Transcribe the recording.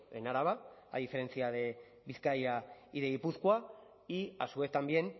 en araba a diferencia de bizkaia y de gipuzkoa y a su vez también